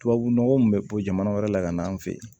Tubabu nɔgɔ min bɛ bɔ jamana wɛrɛ la ka na an fe yen